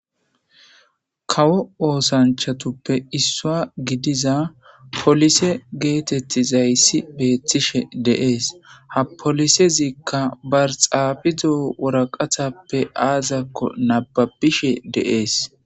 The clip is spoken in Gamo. Kawo oosanchatuppe issua gidiza polise geetettizayssi beettishe deees ha polisezikka barxaabizo woraqatappe aazakko nababishe deees.